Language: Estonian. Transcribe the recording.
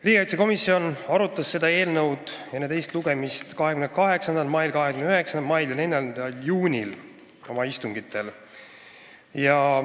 Riigikaitsekomisjon arutas seda eelnõu enne teist lugemist oma 28. mai, 29. mai ja 4. juuni istungil.